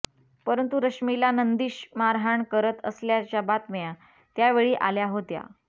परंतु रश्मीला नंदिश मारहाण करत असल्याच्या बातम्या त्यावेळी आल्या होत्या